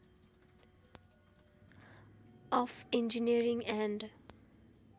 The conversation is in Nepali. of engineering and